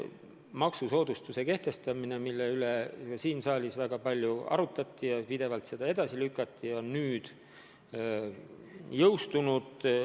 Maksusoodustused, mille üle ka siin saalis väga palju arutleti ja mida pidevalt edasi lükati, on nüüd jõustunud.